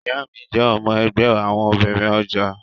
Ìyá mi jẹ́ ọmọ ẹgbẹ́ àwọn obìnrin ọjà